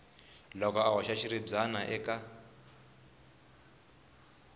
loko a hoxa xiribyana eka